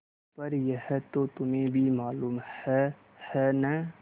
पर यह तो तुम्हें भी मालूम है है न